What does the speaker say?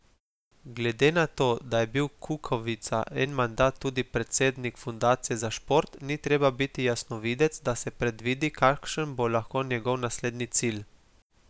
Glede na to, da je bil Kukovica en mandat tudi predsednik fundacije za šport, ni treba biti jasnovidec, da se predvidi, kakšen bo lahko njegov naslednji cilj.